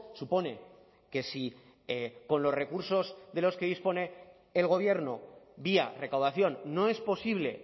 supone que si con los recursos de los que dispone el gobierno vía recaudación no es posible